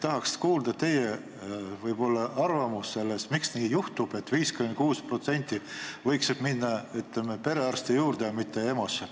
Tahaks kuulda teie arvamust selle kohta, miks nii juhtub, et need 56%, kes võiksid minna perearsti juurde, lähevad EMO-sse.